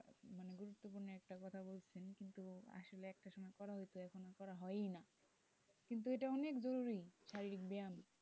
এটা করা হয় না কিন্তু এটা অনেক খুবই জরুরী শারীরিক ব্যায়াম।